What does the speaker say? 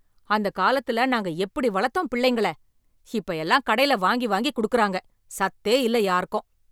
அந்த காலத்துல நாங்க எப்படி வளர்த்தோம் பிள்ளைங்கள? இப்ப எல்லாம் கடைல வாங்கி வாங்கி கொடுக்கறாங்க. சத்தே இல்லை யாருக்கும்.